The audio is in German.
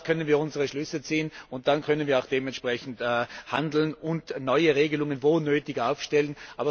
Daraus können wir unsere Schlüsse ziehen und dann können wir auch dementsprechend handeln und neue Regelungen, wo sie nötig sind, aufstellen.